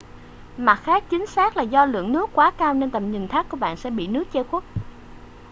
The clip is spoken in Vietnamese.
mặt khác chính xác là do lượng nước quá cao nên tầm nhìn thác của bạn sẽ bị nước che khuất